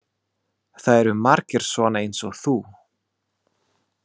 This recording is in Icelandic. Það eru margir svona eins og þú.